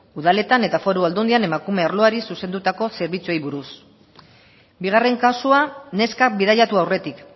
udaletan eta foru aldundian emakume arloari zuzendutako zerbitzuari buruz bigarren kasua neska bidaiatu aurretik